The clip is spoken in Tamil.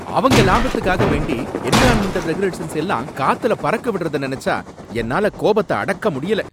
அவங்க லாபத்துக்காக வேண்டி என்விரான்மென்டல் ரெகுலேஷன்ஸ எல்லாம் காத்துல பறக்க விடறத நனைச்சா என்னால கோபத்த அடக்க முடியல.